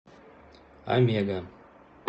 омега